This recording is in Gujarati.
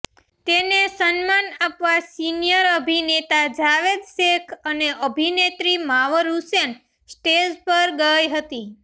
તેને સન્માન આપવા સીનિયર અભિનેતા જાવેદ શેખ અને અભિનેત્રી માવર હુસૈન સ્ટેજ પર ગઈ હતી